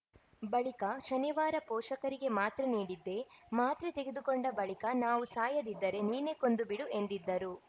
ಬಳಿಕ ಶನಿವಾರ ಪೋಷಕರಿಗೆ ಮಾತ್ರೆ ನೀಡಿದ್ದೆ ಮಾತ್ರೆ ತೆಗೆದುಕೊಂಡ ಬಳಿಕ ನಾವು ಸಾಯದಿದ್ದರೆ ನೀನೇ ಕೊಂದು ಬಿಡು ಎಂದಿದ್ದರು